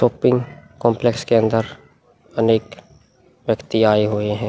Complex के अंदर अनेक व्यक्ति आये हुए हैं।